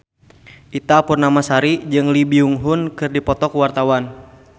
Ita Purnamasari jeung Lee Byung Hun keur dipoto ku wartawan